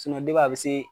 a bɛ se